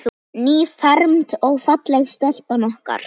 Nýfermd og falleg stelpan okkar.